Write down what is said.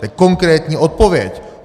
To je konkrétní odpověď.